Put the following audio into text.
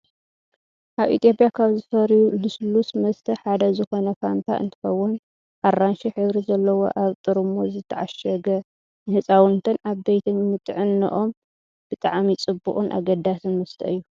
ኣብ ኢትዮጵያ ካብ ዝፈርዩ ሉስሉስ መስተ ሓደ ዝኮነ ፋንታ እንትከውን፣ ኣራንሺ ሕብሪ ዘለዎ ኣብ ጥርሙዝ ዝተዓሸገ ንህፃውንትን ዓበይትን ንጥዕኖኦም ብጣዕሚ ፅቡቅን ኣገዳስን መስተ እዩ።